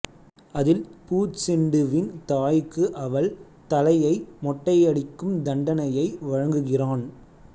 அதில் பூச்செண்டுவின் தாய்க்கு அவள் தலையை மொட்டையடிக்கும் தண்டனையை வழங்குகிறான்